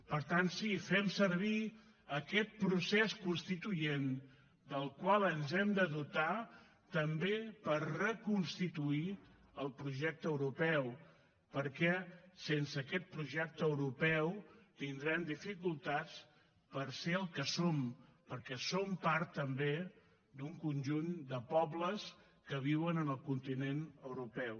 per tant sí fem servir aquest procés constituent del qual ens hem de dotar també per reconstituir el projecte europeu perquè sense aquest projecte europeu tindrem dificultats per ser el que som perquè som part també d’un conjunt de pobles que viuen en el continent europeu